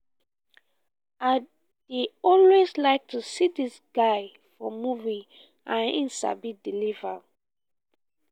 i dey always like to see dis guy for movie and he sabi deliver